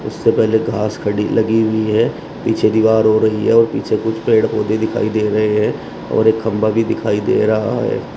उससे पहले घास खड़ी लगी हुई है पीछे दीवार हो रही है और पीछे कुछ पेड़ पौधे भी दिखाई दे रहे हैं और एक खंभा भी दिखाई दे रहा है।